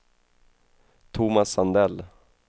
Thomas Sandell